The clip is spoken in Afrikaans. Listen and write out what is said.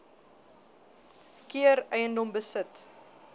keer eiendom besit